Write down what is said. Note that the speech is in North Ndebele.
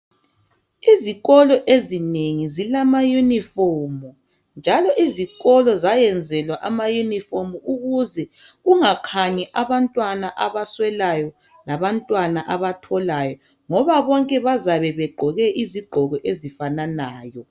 Izikolo ezinengi zilama uniform njalo izikolo zayenzelwa ama uniform ukuze kungakhanyi abantwana abaswelayo alabantwana abatholayo ngoba bonke bazabe begqoke izigqoko ezifananayo